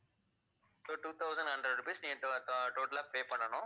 so two thousand hundred rupees நீங்க to~ ah total ஆ pay பண்ணனும்.